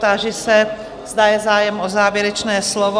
Táži se, zda je zájem o závěrečné slovo?